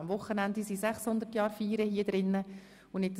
Am Wochenende finden hier die 600-Jahr-Feiern statt.